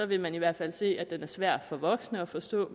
vil man i hvert fald se at den er svær for voksne at forstå